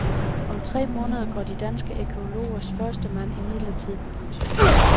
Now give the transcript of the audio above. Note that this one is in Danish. Om tre måneder går de danske arkæologers førstemand imidlertid på pension.